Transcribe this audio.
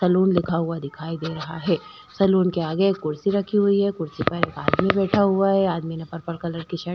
salon लिखा हुआ दिखाई दे रहा है सैलून के आगे एक कुर्सी रखी हुई हैं कुर्सी पर एक आदमी बैठा हुआ हैं आदमी ने पर्पल कलर की शर्ट --